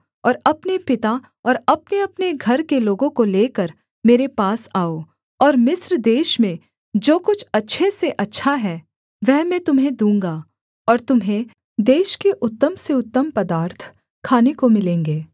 और अपने पिता और अपनेअपने घर के लोगों को लेकर मेरे पास आओ और मिस्र देश में जो कुछ अच्छे से अच्छा है वह मैं तुम्हें दूँगा और तुम्हें देश के उत्तम से उत्तम पदार्थ खाने को मिलेंगे